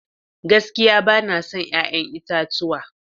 Gaskiya bana son 'ya'yan itatuwa.